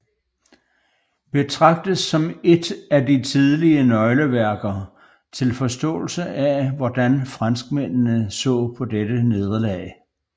Betragtes som en af de tidlige nøgleværker til forståelse af hvor franskmændene så på dette nederlag